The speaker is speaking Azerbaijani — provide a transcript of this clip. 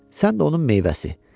Sən də onun meyvəsi.